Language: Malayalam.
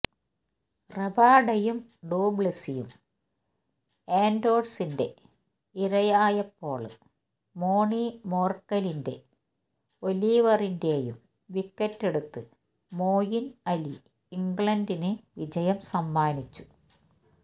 റബാഡയും ഡു പ്ലെസിസും ആന്ഡേഴ്സന്റെ ഇരയായപ്പോള് മോണി മോര്ക്കലിന്റെ ഒലിവിയറിന്റെയും വിക്കറ്റെടുത്ത് മോയിന് അലി ഇംഗ്ലണ്ടിന് വിജയം സമ്മാനിച്ചു